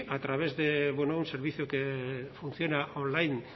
a través de un servicio que funciona online